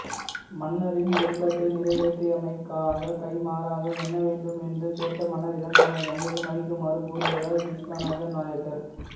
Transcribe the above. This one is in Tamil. மன்னரின் விருப்பத்தை நிறைவேற்றியமைக்காக கைமாறாக என்ன வேண்டும் என்று கேட்ட மன்னரிடம் தமது தந்தையை மன்னிக்குமாறு கோருகிறார் விஷ்வனாத நாயக்கர்